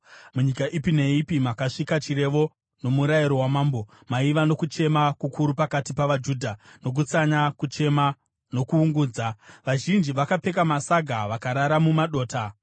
Munyika ipi neipi makasvika chirevo nomurayiro wamambo, maiva nokuchema kukuru pakati pavaJudha, nokutsanya, kuchema, nokuungudza. Vazhinji vakapfeka masaga vakarara mumadota.